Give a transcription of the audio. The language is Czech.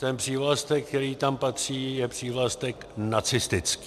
Ten přívlastek, který tam patří, je přívlastek "nacistický".